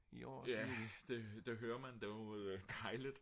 ja det hører man det er jo dejligt